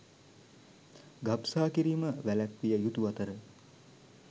ගබ්සා කිරීම වැළැක්විය යුතු අතර